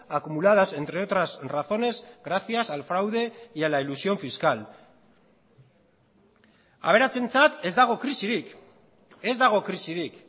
acumuladas entre otras razones gracias al fraude y a la elusión fiscal aberatsentzat ez dago krisirik ez dago krisirik